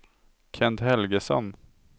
Kent Helgesson